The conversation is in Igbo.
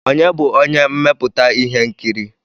Ònye bụ onye mmepụta ihe nkiri?